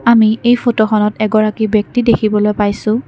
আমি এই ফটোখনত এগৰাকী ব্যক্তি দেখিবলৈ পাইছোঁ।